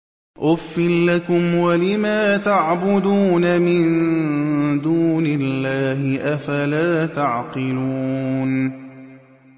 أُفٍّ لَّكُمْ وَلِمَا تَعْبُدُونَ مِن دُونِ اللَّهِ ۖ أَفَلَا تَعْقِلُونَ